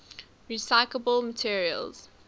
recyclable materials